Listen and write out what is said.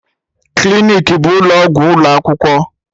Clinic bụ ụlọ ọgwụ ụlọ akwụkwọ.